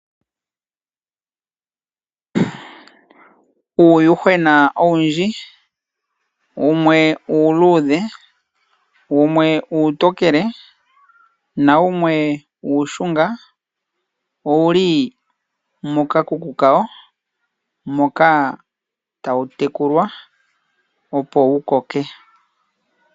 Uuyuhwena owundji, wumwe uuluudhe, wumwe uutokele nawumwe uushunga, owu li mokakuku kawo moka tawu tekulwa opo wukoke.